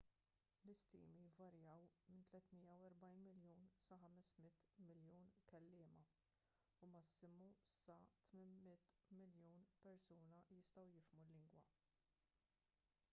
l-istimi jvarjaw minn 340 miljun sa 500 miljun kelliema u massimu sa 800 miljun persuna jistgħu jifhmu l-lingwa